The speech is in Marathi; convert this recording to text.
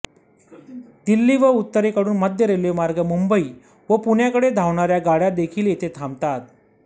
दिल्ली व उत्तरेकडून मध्य रेल्वेमार्गे मुंबई व पुण्याकडे धावणाऱ्या गाड्या देखील येथे थांबतात